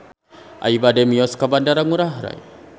Abi bade mios ka Bandara Ngurai Rai